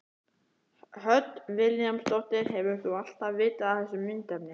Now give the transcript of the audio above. Hödd Vilhjálmsdóttir: Hefur þú alltaf vitað af þessu myndefni?